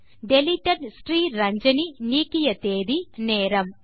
deleted Sriranjani நீக்கிய தேதி நேரம்